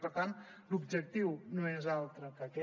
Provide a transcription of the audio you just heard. per tant l’objectiu no és altre que aquest